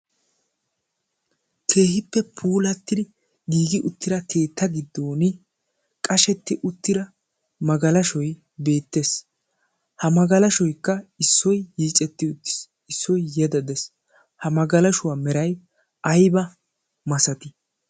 keehippe puulatti giigi uttira keetta giddon qashetti uttira magalashoi beettees. ha magalashoikka issoi yiicetti uttiis. issoi yedadees ha magalashuwaa merai aiba masatii?